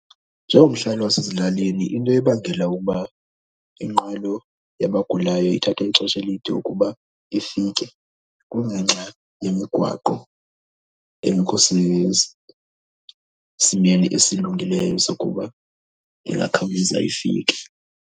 Njengomhlali wasezilalini into ebangela ukuba inqwelo yabagulayo ithatha ixesha elide ukuba ifike kungenxa yemigwaqo engekho sesimeni esilungileyo sokuba ingakhawuleza ifike.